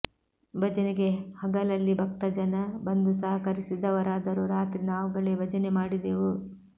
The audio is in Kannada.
ಭಜನೆಗೆ ಹಗಲಲ್ಲಿ ಭಕ್ತಜನ ಬಂದು ಸಹಕರಿಸಿದರಾದರೂ ರಾತ್ರಿ ನಾವುಗಳೇ ಭಜನೆ ಮಾಡಿದೆವು